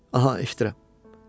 Aha, eşidirəm.